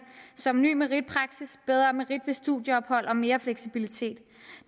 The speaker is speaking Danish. som ny meritpraksis bedre merit ved studieophold og mere fleksibilitet